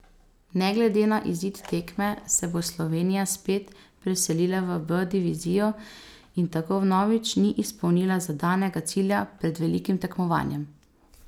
Ne glede na izid zadnje tekme se bo Slovenija spet preselila v B divizijo in tako vnovič ni izpolnila zadanega cilja pred velikim tekmovanjem.